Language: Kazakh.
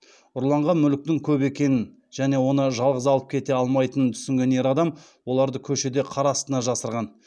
ұрланған мүліктің көп екенін және оны жалғыз алып кете алмайтынын түсінген ер адам оларды көшеде қар астына жасырған